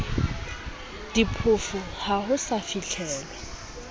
diphofu ha ho sa fihlelwa